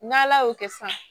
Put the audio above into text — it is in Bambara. N'ala y'o kɛ sisan